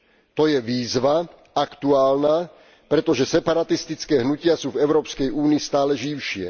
To je výzva aktuálna, pretože separatistické hnutia sú v Európskej únii stále živšie.